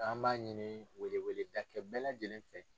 An b'a ɲini weleweleda kɛ bɛɛ lajɛlen fɛ.